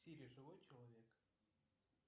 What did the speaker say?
сири живой человек